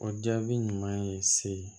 O jaabi ɲuman ye se